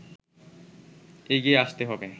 এগিয়ে আসতে হবে”